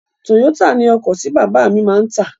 Toyota ni ọkọ̀ tí bàbá mi máa tà.